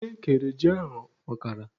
Nne kere ji ahụ ọkara.